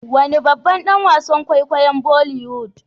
wane babban danwasan kwaikwayom boliwoood